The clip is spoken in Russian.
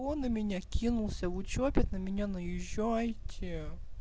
он на меня кинулся вы что опять на меня наезжаете